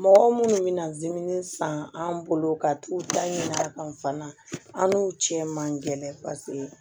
Mɔgɔ minnu mina dimin san an bolo ka t'u da ɲin'a kan fana an n'u tiɲɛ man gɛlɛn paseke